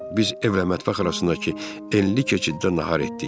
Biz evlə mətbəx arasındakı enli keçiddə nahar etdik.